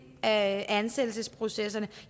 af ansættelsesprocesserne